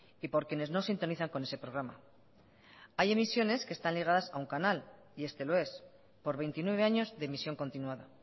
y por quienes no sintonizan con ese programa hay emisiones que están ligadas a un canal y este lo es por veintinueve años de emisión continuada